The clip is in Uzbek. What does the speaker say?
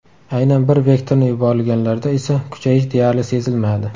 Aynan bir vektorni yuborilganlarda esa kuchayish deyarli sezilmadi.